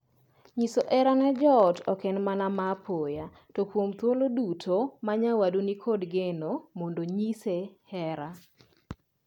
Nyiso hera ne joot ok en mana mapoya to kuom thuolo duto ma nyawadu ni kod geno mondo nyise hera.